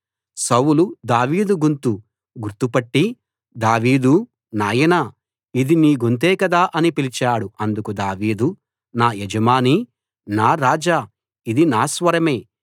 సౌలు దావీదు గొంతు గుర్తుపట్టి దావీదూ నాయనా ఇది నీ గొంతే కదా అని పిలిచాడు అందుకు దావీదు నా యజమానీ నా రాజా ఇది నా స్వరమే